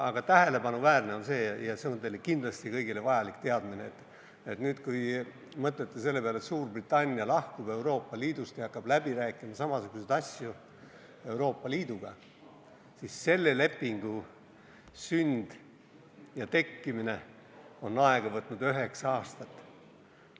Aga tähelepanuväärne on see – ja see on teile kõigile kindlasti vajalik teadmine –, et nüüd, kui mõtlete selle peale, et Suurbritannia lahkub Euroopa Liidust ja hakkab Euroopa Liiduga samasuguseid asju läbi rääkima, siis selle lepingu sünd võttis aega üheksa aastat.